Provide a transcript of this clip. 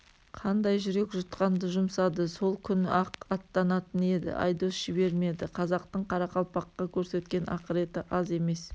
қандай жүрек жұтқанды жұмсады сол күні-ақ аттанатын еді айдос жібермеді қазақтың қарақалпаққа көрсеткен ақыреті аз емес